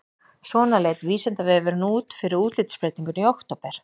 Svona leit Vísindavefurinn út fyrir útlitsbreytinguna í október.